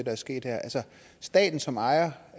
er sket her altså staten som ejer